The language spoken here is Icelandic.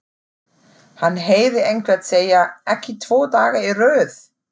Hann heyrði einhvern segja: Ekki tvo daga í röð!